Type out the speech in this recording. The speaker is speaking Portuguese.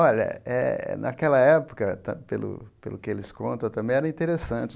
Olha eh, naquela época ta, pelo pelo que eles conta, também era interessante.